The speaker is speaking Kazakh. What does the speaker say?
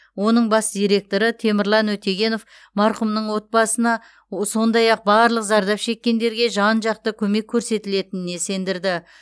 оның бас директоры темірлан өтегенов марқұмның отбасына сондай ақ барлық зардап шеккендерге жан жақты көмек көрсетілетініне сендірді